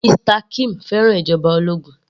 Mr kim fẹ́ràn ìjọba ológun